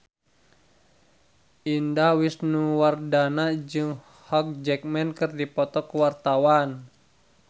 Indah Wisnuwardana jeung Hugh Jackman keur dipoto ku wartawan